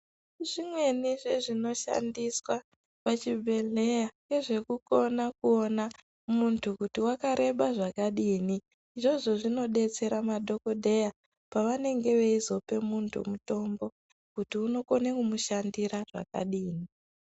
Zvimweni zvezvinoshandiswa pazvibhedhlera ngezvekukona kuone kuti muntu wakareba zvakadini. Izvozvo zvinodetsera madhokodheya pavanenge veizope muntu mutombo kuti unokone kumushandira zvakadini.